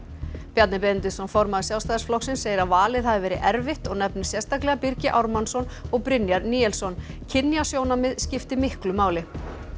Bjarni Benediktsson formaður Sjálfstæðisflokksins segir að valið hafi verið erfitt og nefnir sérstaklega Birgi Ármannsson og Brynjar Níelsson kynjasjónarmið skipti miklu máli